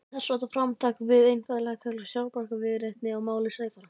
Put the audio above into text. En þessháttar framtak kvað einfaldlega kallast sjálfsbjargarviðleitni á máli sæfara!